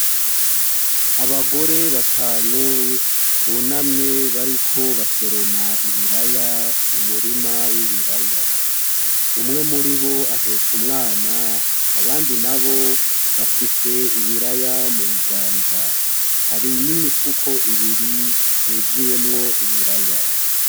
Abagore batanu bunamye bariko basoroma ibiraya mu murima w'ibiraya. Umwe muri bo ahetse umwana, abandi nabo bafise ibiraya mu biganza. Hari n'imifuko ibiri yuzuyemwo ibiraya.